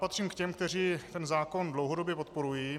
Patřím k těm, kteří ten zákon dlouhodobě podporují.